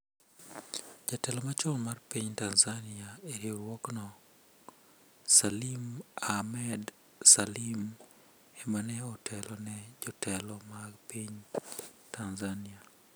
Jatelo machon mar piny Tanzania e riwruokno, Salim Ahmed Salim ema ne otelo ne jotelo mag piny Tanzania.